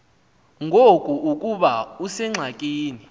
ngoku ukuba usengxakini